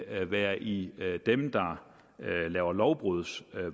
at være i dem der laver lovbruds